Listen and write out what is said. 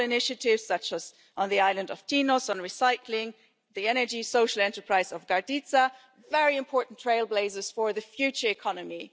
Local initiatives, such as on the island of Tinos on recycling and the energy social enterprise in Karditsa, are very important trailblazers for the future economy.